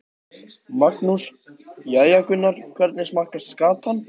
Magnús: Jæja Gunnar, hvernig smakkast skatan?